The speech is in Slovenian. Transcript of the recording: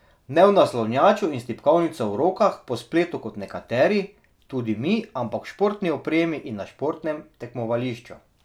Ne v naslanjaču in s tipkovnico v rokah po spletu kot nekateri, tudi mi, ampak v športni opremi in na športnem tekmovališču.